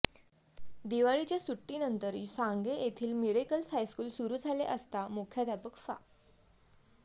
दिवाळीच्या सुट्टीनंतर सांगे येथील मिरेकल्स हायस्कूल सुरू झाले असता मुख्याध्यापक फा